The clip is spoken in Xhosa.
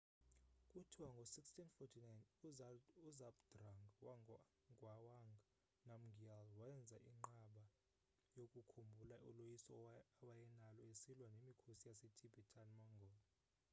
kuthiwa ngo-1649 uzhabdrung ngawang namgyel wenza inqaba yokukhumbula uloyiso awayenalo esilwa nemikhosi yasetibetan-mongol